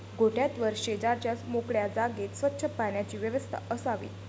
गोठ्यात व शेजारच्या मोकळ्या जागेत स्वच्च पाण्याची व्यवस्था असावी.